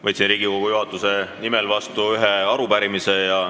Võtsin Riigikogu juhatuse nimel vastu ühe arupärimise.